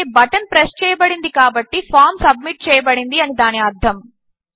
అంటే button press చేయబడింది కాబట్టి ఫామ్ సబ్మిట్ చేయబడింది అని దాని అర్ధము